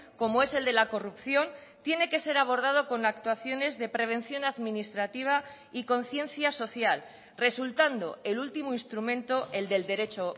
como es el de la corrupción tiene que ser abordado con actuaciones de prevención administrativa y conciencia social resultando el último instrumento el del derecho